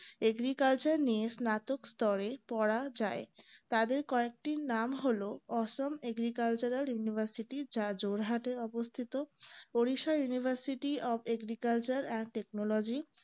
agriculture নিয়ে স্নাতক স্তরে পড়া যায় তাদের কয়েকটির নাম হল অসম agriculture university যা জোড়হাটে অবস্থিত পরিসা universityofagricultureandtechnology